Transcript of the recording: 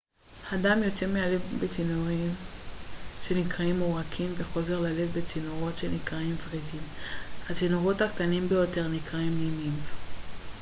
הדם יוצא מהלב בצינורות שנקראים עורקים וחוזר ללב בצינורות שנקראים ורידים הצינורות הקטנים ביותר נקראים נימים